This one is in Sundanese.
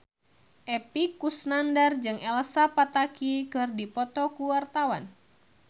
Epy Kusnandar jeung Elsa Pataky keur dipoto ku wartawan